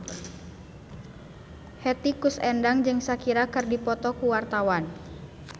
Hetty Koes Endang jeung Shakira keur dipoto ku wartawan